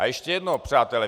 A ještě jedno, přátelé.